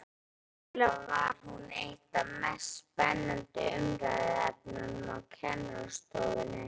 Sennilega var hún eitt af mest spennandi umræðuefnunum á kennarastofunni.